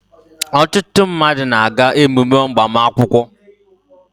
ọtụtụ mmadụ na-aga emume agbamakwụkwọ